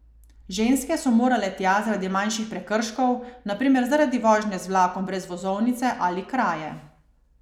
Ženske so morale tja zaradi manjših prekrškov, na primer zaradi vožnje z vlakom brez vozovnice ali kraje.